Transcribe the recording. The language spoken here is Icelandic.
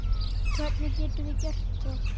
Hvernig getum við gert það?